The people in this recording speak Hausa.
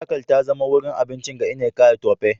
Fatakwal ta zama wurin abinci ga Nneka da Tope.